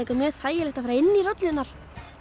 þægilegt að fara inn í rollurnar